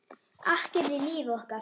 Akkerið í lífi okkar.